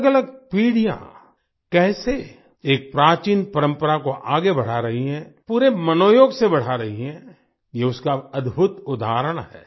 अलगअलग पीढ़ियाँ कैसे एक प्राचीन परम्परा को आगे बढ़ा रही है पूरे मनोयोग से बढ़ा रही है ये उसका अद्भुत उदाहरण है